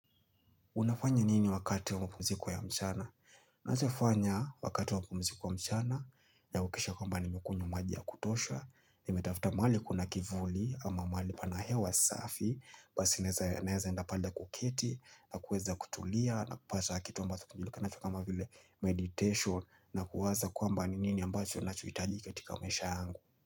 Unafanya nini wakati wa mapumziko ya mchana? Naeza fanya wakati wa mpumziko wa mchana, nahakikisha kwamba nimekunywa maji ya kutosha, nimetafuta mahali kuna kivuli ama mahali pana hewa safi, basi naeza enda pale kuketi, na kueza kutulia, na kupata kitu ambazo kinajulikanacho kama vile meditation, na kuwaza kwamba nini ambacho nachohitaji katika maisha yangu.